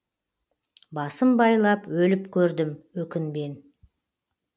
басым байлап өліп көрдім өкінбен